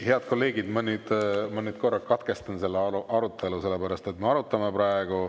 Head kolleegid, ma nüüd korra katkestan selle arutelu, sellepärast et me arutame praegu …